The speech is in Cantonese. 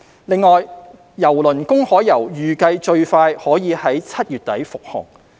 另外，郵輪"公海遊"預計最快可在7月底復航。